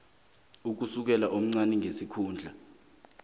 ukusukela komncani ngesikhundla